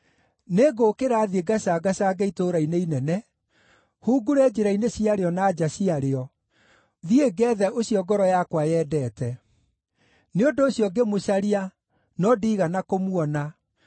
Nĩngũũkĩra thiĩ ngacangacange itũũra-inĩ inene, hungure njĩra-inĩ ciarĩo na nja ciarĩo; thiĩ ngeethe ũcio ngoro yakwa yendete. Nĩ ũndũ ũcio ngĩmũcaria, no ndiigana kũmuona.